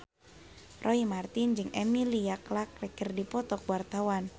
Roy Marten jeung Emilia Clarke keur dipoto ku wartawan